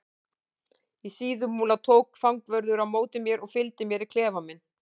Í Síðumúla tók fangavörður á móti mér og fylgdi mér í klefa minn.